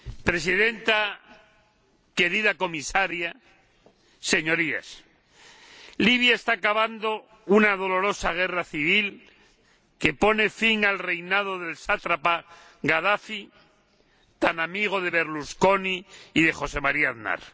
Señora Presidenta, querida Comisaria, Señorías, Libia está acabando una dolorosa guerra civil que pone fin al reinado del sátrapa Gadafi, tan amigo de Berlusconi y de José María Aznar.